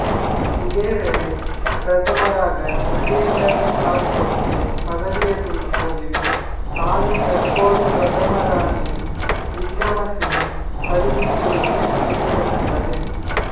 இதேவேளை பிரதமராக மஹிந்த ராஜபக்ஷ பதவியேற்றுள்ள போதிலும் தானே தற்போதும் பிரதமர் ரணில் விக்ரமசிங்க அறிவித்துள்ளமை குறிப்பிடத்தக்கது